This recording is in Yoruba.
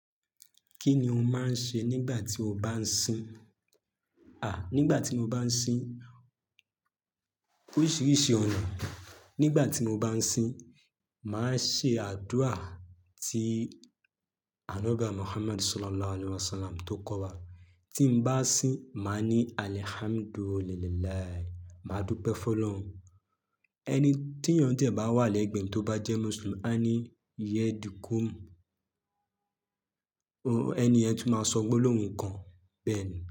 Kí ni o máa ń ṣe nígbà tí o bá ń sin? À, nígbà tí mo bá ń sin oríṣiríṣi ọ̀nà. Nígbà tí mo bá ń sin, màá ṣe àdúrà tí Ànọbi waà Muhammad Sallallahu Alaihi Wasallam tó kọ́ wa. Tí mo bá sin, màá ní alhamdulilahi, màá dúpẹ́ fún Ọlọ́run. Ẹni tí yàn dẹ̀ bá wà lẹ́gbẹ̀ẹ́ ẹni tó bá jẹ́ Muslim, á ní yedikum. O, ẹni ẹ́ tún máa sọ gbólóhùn kan bẹ́ẹ̀ ni.